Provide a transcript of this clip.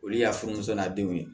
Olu y'a furumuso na denw ye